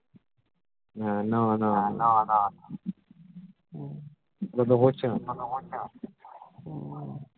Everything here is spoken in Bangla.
হ্যা না না সেটাতো হচ্ছে না